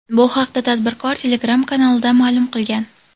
Bu haqda tadbirkor Telegram kanalida ma’lum qilgan .